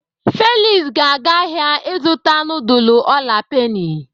Felix ga-aga ahịa ịzụta nudul ola peni.